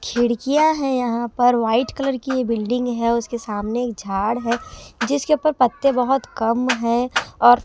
खिड़कियाँ हैं यहाँ पर वाइट कलर की ये बिल्डिंग है उसके सामने एक झाड़ है जिसके ऊपर पत्ते बहुत कम हैं और--